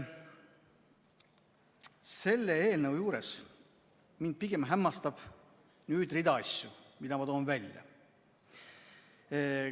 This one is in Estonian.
Selle eelnõu juures mind pigem hämmastab rida asju, mille ma toon välja.